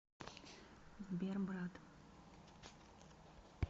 сбер брат